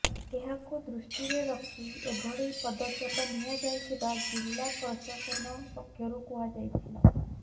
ଏହାକୁ ଦୃଷ୍ଟିରେ ରଖି ଏଭଳି ପଦକ୍ଷେପ ନିଆ ଯାଇଥିବା ଜିଲ୍ଲା ପ୍ରଶାସନ ପକ୍ଷରୁ କୁହାଯାଇଛି